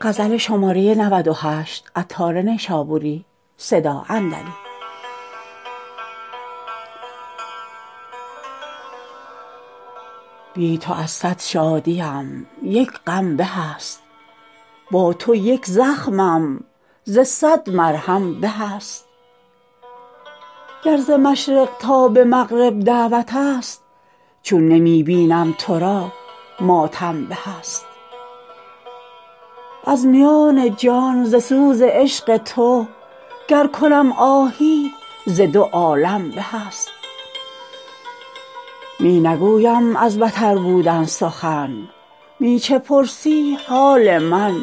بی تو از صد شادیم یک غم به است با تو یک زخمم ز صد مرهم به است گر ز مشرق تا به مغرب دعوت است چون نمی بینم تو را ماتم به است از میان جان ز سوز عشق تو گر کنم آهی ز دو عالم به است می نگویم از بتر بودن سخن می چه پرسی حال من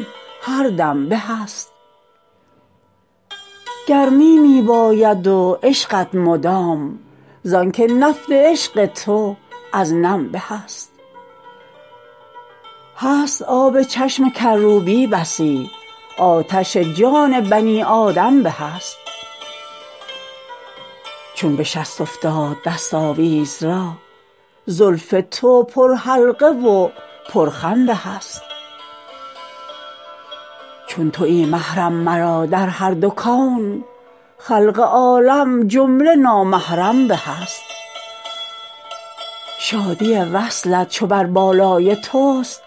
هر دم به است گرمی می باید و عشقت مدام زانکه نفت عشق تو از نم به است هست آب چشم کروبی بسی آتش جان بنی آدم به است چون بشست افتاد دست آویز را زلف تو پر حلقه و پر خم به است چون تویی محرم مرا در هر دو کون خلق عالم جمله نامحرم به است شادی وصلت چو بر بالای توست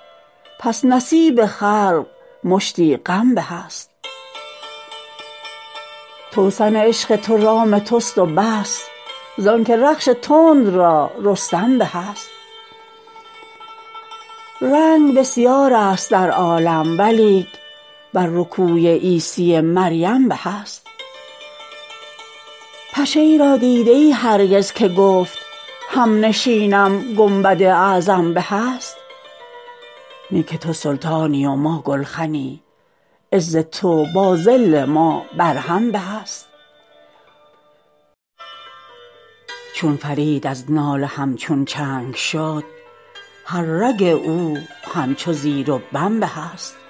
پس نصیب خلق مشتی غم به است توسن عشق تو رام توست و بس زانکه رخش تند را رستم به است رنگ بسیار است در عالم ولیک بر رکوی عیسی مریم به است پشه ای را دیده ای هرگز که گفت همنشینم گنبد اعظم به است نی که تو سلطانی و ما گلخنی عز تو با ذل ما بر هم به است چون فرید از ناله همچون چنگ شد هر رگ او همچو زیر و بم به است